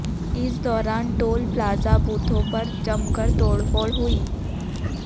इस दौरान toll plaza बूथों पर जमकर तोड़फोड़ हुई